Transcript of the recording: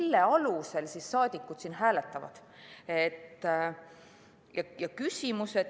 Mille alusel saadikud hääletavad?